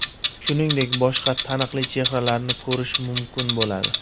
Shuningdek, boshqa taniqli chehralarni ko‘rish mumkin bo‘ladi.